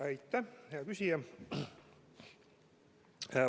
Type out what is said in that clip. Aitäh, hea küsija!